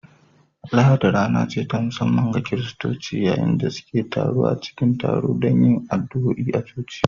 Lahadi rana ce ta musamman ga Kiristoci, yayin da suke taruwa cikin taro don yin addu’a a coci